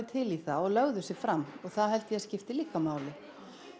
til í það og lögðu sig fram og það held ég skiptir líka máli